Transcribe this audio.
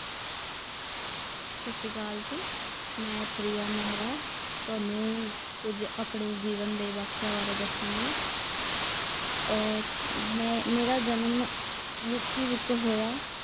ਸਤਿ ਸ੍ਰੀ ਅਕਾਲ ਜੀ। ਮੈਂ ਪ੍ਰਿਯਾ ਮਹਿਰਾ, ਤੁਹਾਨੂੰ ਕੁੱਝ ਆਪਣੇ ਜੀਵਨ ਦੇ ਵਾਕਿਆ ਬਾਰੇ ਦੱਸਾਂਗੀ ਆ ਮੈਂ ਮੇਰਾ ਜਨਮ ਯੂ ਪੀ ਵਿਚ ਹੋਇਆ।